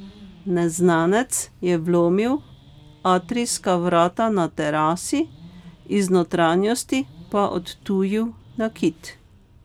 Neznanec je vlomil atrijska vrata na terasi, iz notranjosti pa odtujil nakit.